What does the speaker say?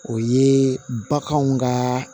O ye baganw ka